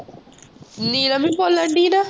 ਨੀਲਮ ਹੀ ਬੋਲਣ ਡੀ ਨਾ